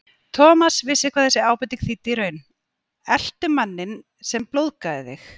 Thomas vissi hvað þessi ábending þýddi í raun: Eltu manninn sem blóðgaði þig.